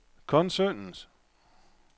koncernens